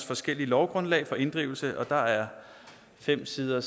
forskellige lovgrundlag for inddrivelse der er fem sider